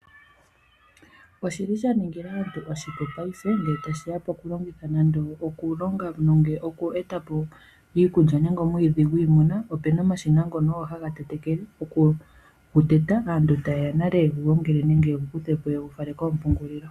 Oshili sha ni ningila aantu oshipu paife ngele tashiya poku longitha nande oku longa oku etapo iikulya nenge omwiidhi gwiimuna opena omashina ngono ogo haga tetekele oku teta aantu tayeya nale ye gu gongele nenge ye gu kutheopo yegu fale koompungulilo.